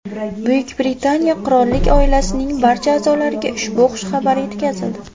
Buyuk Britaniya Qirollik oilasining barcha a’zolariga ushbu xushxabar yetkazildi.